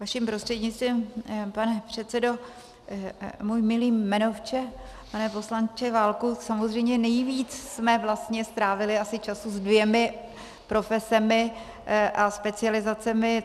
Vaším prostřednictvím, pane předsedo, můj milý jmenovče, pane poslanče Válku, samozřejmě nejvíc jsme vlastně strávili asi času se dvěma profesemi a specializacemi.